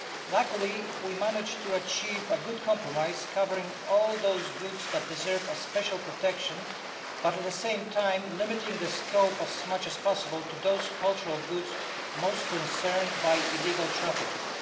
Luckily, we managed to achieve a good compromise, covering all those goods that deserve special protection, but at the same time limiting the scope as much as possible to those cultural goods most affected by illegal trafficking.